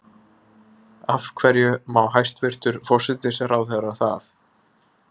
Af hverju má hæstvirtur forsætisráðherra það?